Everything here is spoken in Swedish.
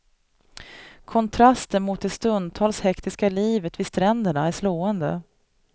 Kontrasten mot det stundtals hektiska livet vid stränderna är slående.